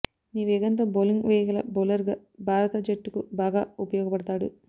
మీ వేగంతో బౌలింగ్ వేయగల బౌలర్గా భారత జట్టుకు బాగా ఉపయోగపడతాడు